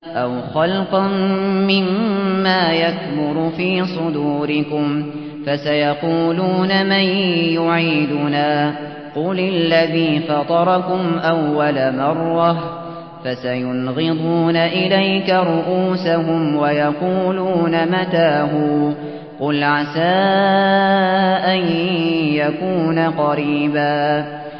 أَوْ خَلْقًا مِّمَّا يَكْبُرُ فِي صُدُورِكُمْ ۚ فَسَيَقُولُونَ مَن يُعِيدُنَا ۖ قُلِ الَّذِي فَطَرَكُمْ أَوَّلَ مَرَّةٍ ۚ فَسَيُنْغِضُونَ إِلَيْكَ رُءُوسَهُمْ وَيَقُولُونَ مَتَىٰ هُوَ ۖ قُلْ عَسَىٰ أَن يَكُونَ قَرِيبًا